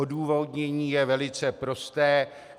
Odůvodnění je velice prosté.